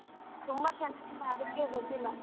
ತುಂಬ ಚೆನಾಗಿಲ್ಲ ಅದ್ಕೆ ಬಂದಿಲ್ಲ.